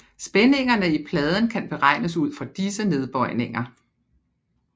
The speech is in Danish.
Spændingerne i pladen kan beregnes ud fra disse nedbøjninger